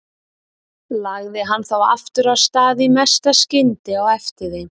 Lagði hann þá aftur af stað í mesta skyndi á eftir þeim.